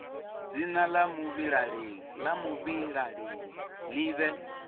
dzina la muvhilaleli li vhe